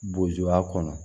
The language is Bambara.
Bozuya kɔnɔ